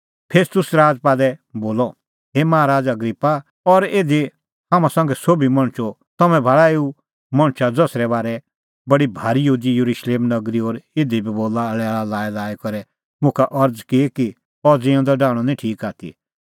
फेस्तुस राजपालै बोलअ हे माहा राज़अ अग्रिप्पा और इधी हाम्हां संघै सोभी मणछो तम्हैं भाल़ा एऊ मणछा ज़सरै बारै बडै भारी यहूदी येरुशलेम नगरी और इधी बी लैल़ा लाईलाई करै मुखा अरज़ की कि अह ज़िऊंदअ डाहणअ निं ठीक आथी